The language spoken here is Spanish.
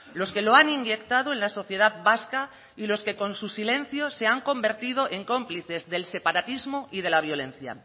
los que lo han inyectado en la sociedad vasca y los que con su silencio se han convertido en cómplices del separatismo y de la violencia